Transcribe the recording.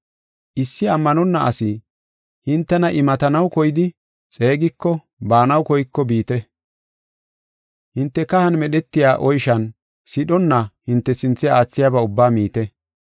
Issi ammanonna asi hintena imatanaw koydi xeegiko baanaw koyko biite. Hinte kahan medhetiya oyshan sidhonna hinte sinthe aathiyaba ubba miite.